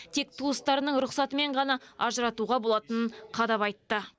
тек туыстарының рұқсатымен ғана ажыратуға болатынын қадап айтты